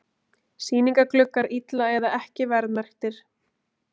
Sýningargluggar illa eða ekki verðmerktir